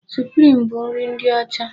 Suprim bụ nri ndị ọcha.